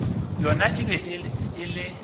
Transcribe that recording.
yona e be e le